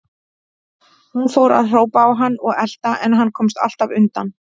Hún fór að hrópa á hann og elta, en hann komst alltaf undan.